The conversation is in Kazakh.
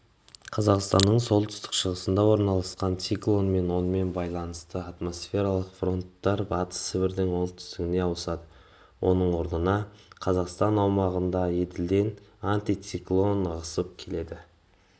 қазақстанның солтүстік шығысында орналасқан циклон мен онымен байланысты атмосфералық фронттар батыс сібірдің оңтүстігіне ауысады оның орнына қазақстан аумағынаеділден антициклон ығысып келеді